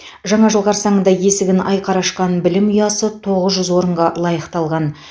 жаңа жыл қарсаңында есігін айқара ашқан білім ұясы тоғыз жүз орынға лайықталған